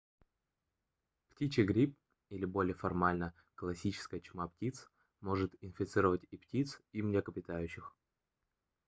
птичий грипп или более формально классическая чума птиц может инфицировать и птиц и млекопитающих